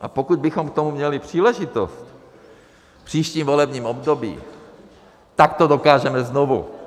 A pokud bychom k tomu měli příležitost v příštím volebním období, tak to dokážeme znovu!